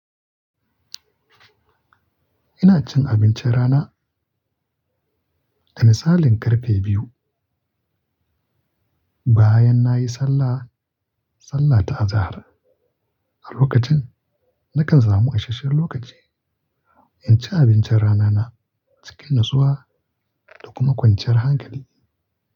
Ina cin abincin rana. Misalin karfe biyu bayan nayi sallah, sallah ta azahar. A lokacin nakan samu isashen lokaci in ci abincin rana na cikin natsuwa da kuma kwanciyar hankali.